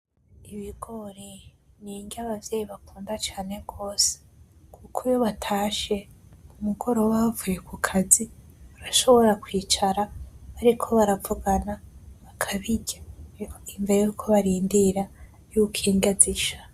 Ibigori ni inrya abavyeyi bakunda cane gose kuko iyo batashe kumugoroba bavuye kukazi bashobora kwicara bariko baravugana bakabirya imbere yuko barondera yuko inrya zisha .